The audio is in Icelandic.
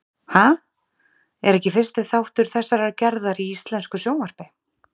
Ha? er ekki fyrsti þáttur þessarar gerðar í íslensku sjónvarpi.